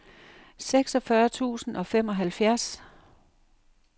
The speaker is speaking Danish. seksogfyrre tusind og femoghalvfjerds